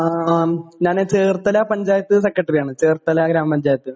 ഞാൻ ചേർത്തല പഞ്ചായത്തു സെക്രട്ടറി ആണ് . ചേർത്തല ഗ്രാമ പഞ്ചായത്തു